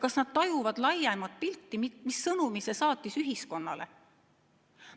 Kas nad tajuvad laiemat pilti ja seda, mis sõnumi see saatis ühiskonnale?